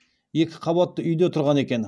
екі қабатты үйде тұрған екен